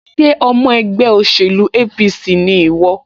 Ṣé ọmọ ẹgbẹ́ òṣèlú APC ni ìwọ?